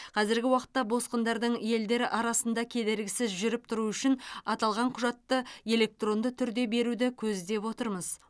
қазіргі уақытта босқындардың елдер арасында кедергісіз жүріп тұруы үшін аталған құжатты электронды түрде беруді көздеп отырмыз